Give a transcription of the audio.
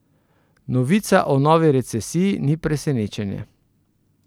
Novica o novi recesiji ni presenečenje.